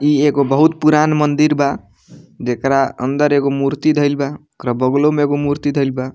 इ एगो बहुत पुरान मंदिर बा जेकरा अंदर एगो मूर्ति धईल बा ओकरो बगलो में एगो मूर्ति धईल बा।